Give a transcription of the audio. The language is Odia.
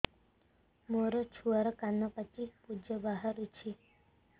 ମୋ ଛୁଆର କାନ ପାଚି ପୁଜ ବାହାରୁଛି